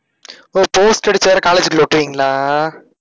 ஒஹ் poster அடிச்சு வேற college க்குள்ள ஒட்டுவீங்களா?